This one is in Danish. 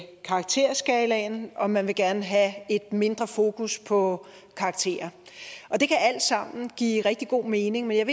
karakterskalaen og man gerne vil have et mindre fokus på karakterer det kan alle sammen give rigtig god mening men jeg